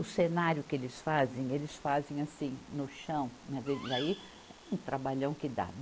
O cenário que eles fazem, eles fazem assim, no chão, mas aí é um trabalhão que dá.